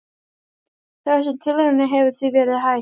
Þessum tilraunum hefur því verið hætt.